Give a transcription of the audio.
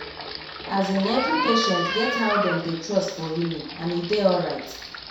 as in every patient get how them dey trust for healing and e dey alright